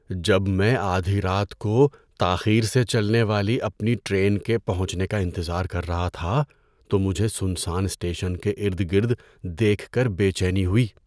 جب میں آدھی رات کو تاخیر سے چلنے والی اپنی ٹرین کے پہنچنے کا انتظار کر رہا تھا تو مجھے سنسان اسٹیشن کے ارد گرد دیکھ کر بے چینی ہوئی۔